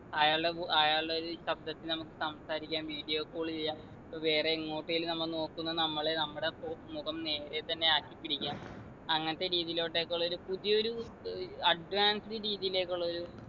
അയാളുടെ വു അയാളുടെ ഒരു ശബ്ദത്തിൽ നമുക്ക് സംസാരിക്കാം video call ചെയ്യാം ഇപ്പൊ വേറെ എങ്ങോട്ടേലും നമ്മ നോക്കുന്ന നമ്മളെ നമ്മുടെ ഒ മുഖം നേരെ തന്നെ ആക്കി പിടിക്കാം അങ്ങനത്തെ രീതിലോട്ടെക്കുള്ളൊരു പുതിയൊരു ഏർ advanced രീതിലേക്കുള്ളൊരു